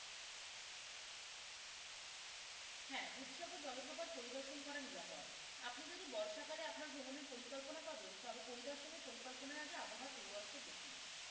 হ্যাঁ দুধসাগর জলপ্রপাত পরিদর্শন করা কি নিরাপদ। আপনি যদি বর্ষাকালে আপনার ভ্রমণের পরিকল্পনা পাবেন তবে পরিদর্শনের পরিকল্পনার আগে আবহাওয়ার পূর্বাসটা দেখুন।